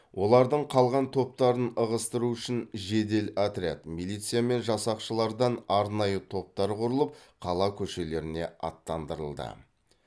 олардың қалған топтарын ығыстыру үшін жедел отряд милиция мен жасақшылардан арнайы топтар құрылып қала көшелеріне аттандырылды